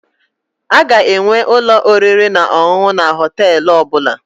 Aga enwe ụlọ oriri na ọṅụṅụ na Họtelụ ọbụla